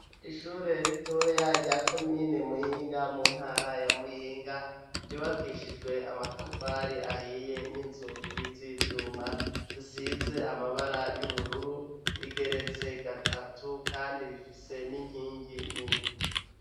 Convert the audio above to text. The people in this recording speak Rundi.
Ishure ritoya rya komine Muyinga mu ntara ya Muyinga yubakishijwe amatafari ahiye n'inzugi z'ivyuma, zisize amabara y'ubururu, rigeretse gatatu kandi rifise n'inkingi nini.